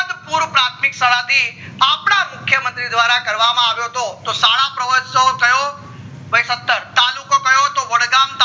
પૂર્ણ પ્રાથમિક શાળા થી અપડા મુખ્ય મંત્રી દ્વારા કરવામાં આવ્યો હતો તો શાળા પ્રહોત્સવ કયો ભય સત્તર તાલુકો કયો તો વડગામ